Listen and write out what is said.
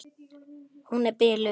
Hún er biluð!